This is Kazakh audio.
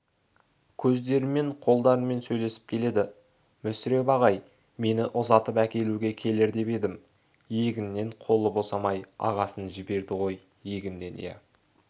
көздерімен қолдарымен сөйлесіп келеді мүсіреп ағай мені ұзатып әкелуге келер деп едім егіннен қолы босамай ағасын жіберді ғой егіннен иә